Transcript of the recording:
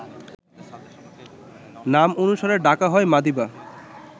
নাম অনুসারে ডাকা হয় মাদিবা